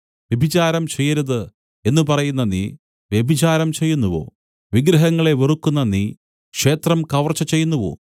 വ്യഭിചാരം ചെയ്യരുത് എന്നു പറയുന്ന നീ വ്യഭിചാരം ചെയ്യുന്നുവോ വിഗ്രഹങ്ങളെ വെറുക്കുന്ന നീ ക്ഷേത്രം കവർച്ച ചെയ്യുന്നുവോ